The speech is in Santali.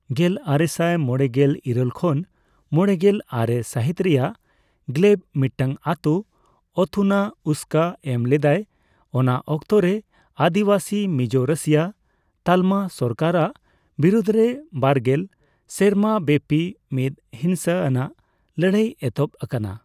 ᱜᱮᱞᱟᱨᱮᱥᱟᱭ ᱢᱚᱲᱮᱜᱮᱞ ᱤᱨᱟᱹᱞ ᱠᱷᱚᱱ ᱢᱚᱲᱮᱜᱮᱞ ᱟᱨᱮ ᱥᱟᱦᱤᱛ ᱨᱮᱭᱟᱜ ᱜᱞᱮᱵ ᱢᱤᱫᱴᱟᱝ ᱟᱛᱳ ᱚᱷᱚᱛᱷᱩᱱᱟ ᱩᱥᱠᱟᱹ ᱮᱢ ᱞᱮᱫᱟᱭ, ᱚᱱᱟ ᱚᱠᱛᱚ ᱨᱮ ᱟᱹᱫᱤᱵᱟᱥᱤ ᱢᱤᱡᱳ ᱨᱟᱹᱥᱤᱭᱟ ᱛᱟᱞᱢᱟ ᱥᱚᱨᱠᱟᱨᱟᱜ ᱵᱤᱨᱩᱫ ᱨᱮ ᱵᱟᱨᱜᱮᱞ ᱥᱮᱨᱢᱟᱵᱮᱯᱤ ᱢᱤᱫ ᱦᱤᱱᱥᱟᱹ ᱟᱱᱟᱜ ᱞᱟᱹᱲᱦᱟᱹᱭ ᱮᱦᱚᱵ ᱟᱠᱟᱱᱟ ᱾